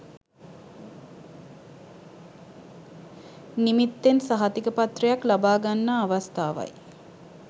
නිමිත්තෙන් සහතිකපත්‍රයක් ලබාගන්නා අවස්ථාවයි.